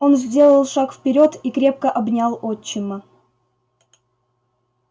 он сделал шаг вперёд и крепко обнял отчима